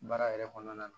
Baara yɛrɛ kɔnɔna na